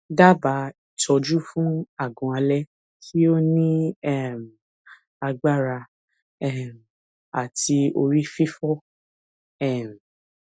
dabaa itoju fun agun ale ti o ni um agbara um ati ori fifo um